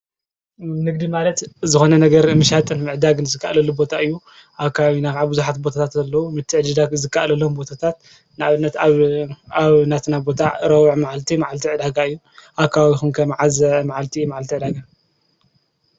ንግዲ ማለት ዝኾነ ነገር ምሻጥን ምዕዳግን ዝካኣለሉ ቦታ እዩ፡፡ ኣብ ከባቢና ከዓ ብዙሓት ቦታታት ኣለዉ፡፡ ምትዕድዳግ ዝካኣለሎም ቦታታት ንኣብነት ኣብ ናትና ቦታ ረቡዕ መዓልቲ፣ መዓልቲ ዕዳጋ እዩ፡፡ ኣብ ከባቢኹም ከ መዓዝ መዓልቲ እዩ፣ መዓልቲ ዕደጋ?